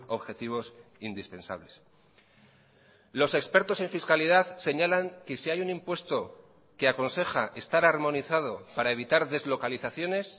objetivos indispensables los expertos en fiscalidad señalan que si hay un impuesto que aconseja estar armonizado para evitar deslocalizaciones